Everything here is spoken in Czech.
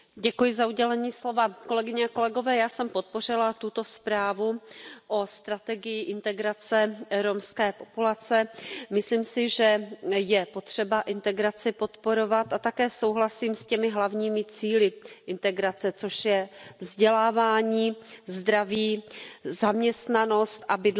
Paní předsedající, já jsem podpořila tuto zprávu o strategii integrace romské populace. Myslím si, že je potřeba integraci podporovat, a také souhlasím s těmi hlavními cíli integrace, což jsou vzdělávání, zdraví, zaměstnanost a bydlení.